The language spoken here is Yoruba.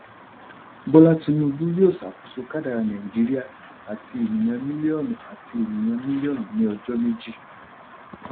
bọ́lá tinubu yóò ṣàkóso kádàrá nàìjíríà àti ènìyàn mílíọ̀nù àti ènìyàn mílíọ̀nù ní ọjọ́ méjì.